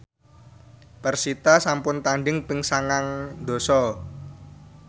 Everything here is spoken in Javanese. persita sampun tandhing ping sangang dasa